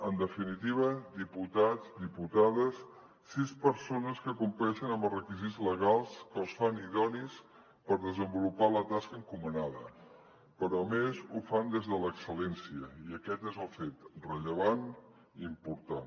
en definitiva diputats diputades sis persones que compleixen amb els requisits legals que els fan idonis per desenvolupar la tasca encomanada però a més ho fan des de l’excel·lència i aquest és el fet rellevant i important